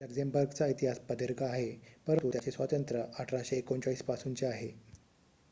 लक्झेमबर्गचा इतिहास प्रदीर्घ आहे परंतु त्याचे स्वातंत्र्य 1839 पासूनचे आहे